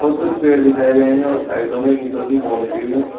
और कुछ पेड़ दिखाए गए हैं और साइडो में ईंटों की बाउंड्री है।